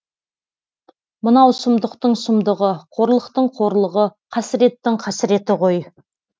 мынау сұмдықтың сұмдығы қорлықтың қорлығы қасіреттің қасіреті ғой